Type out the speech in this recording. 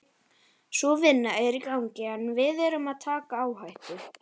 Sú vinna er í gangi en við erum að taka áhættu.